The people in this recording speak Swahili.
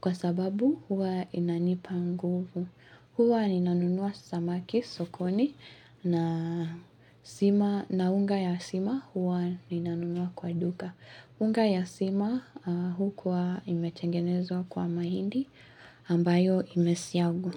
kwa sababu huwa inanipa nguvu. Huwa ninanunua samaki sokoni na unga ya sima huwa ninanunua kwa duka. Unga ya sima ukuwa imetengenezwa kwa mahindi ambayo imesiagwa.